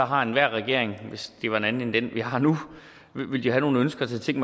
har enhver regering hvis det var en anden end den vi har nu nogle ønsker til ting